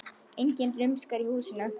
Enginn rumskar í húsinu.